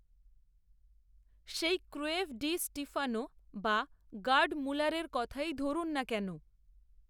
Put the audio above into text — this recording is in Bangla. সেই ক্রূয়েফ ডি স্টিফানো, বা গার্ড মুলারের কথাই ধরুন না কেন